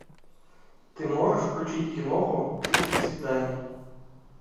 ты можешь включить киноху тридцать свиданий